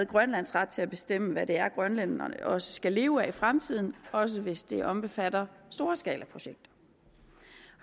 grønlands ret til at bestemme hvad det er grønlænderne også skal leve af i fremtiden også hvis det omfatter storskalaprojekter